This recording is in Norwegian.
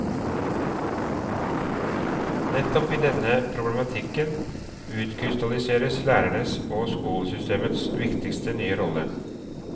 Nettopp i denne problematikken utkrystalliseres lærerens og skolesystemets viktigste nye rolle.